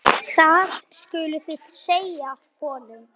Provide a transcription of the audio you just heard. Það skuluð þið segja honum!